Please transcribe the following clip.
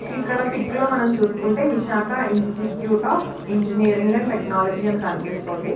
ఇక్కడ పిక్ లో మనం చూసుకుంటే Visakha institute of engineering and technology అని కనిపిస్తుంది.